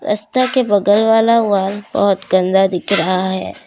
रस्ता के बगल वाला वाल बहुत गंदा दिख रहा है।